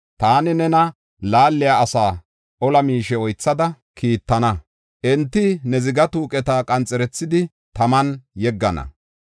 Taani nena laaliya asaa ola miishe oythada kiittana; enti ne ziga tuuqeta qanxerethidi, taman yeggana.